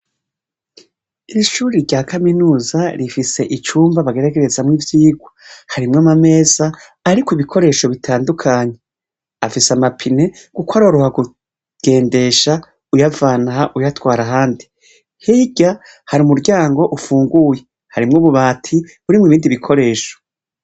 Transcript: Ishure rya kaminuza rifise icumba bagerarezamwo ivyirwa harimwo amameza ariko ibikoresho bitandukanye, afise amapine kuko uraha kugendesha uyavanaha uyatwara ahandi hirya hari umuryango ufunguye nububati nibindi bikoresho.